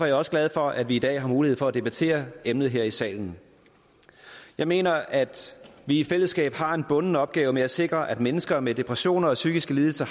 jeg også glad for at vi i dag har mulighed for at debattere emnet her i salen jeg mener at vi i fællesskab har en bunden opgave med at sikre at mennesker med depressioner og psykiske lidelser